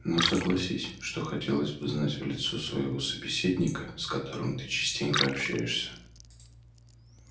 но согласись что хотелось бы знать в лицо своего собеседника с которым ты частенько общаешься